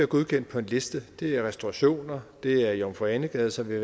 godkendt på en liste det er restaurationer det er i jomfru ane gade som vi